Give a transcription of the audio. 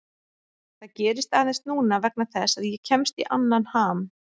Það gerist aðeins núna vegna þess að ég kemst í annan ham.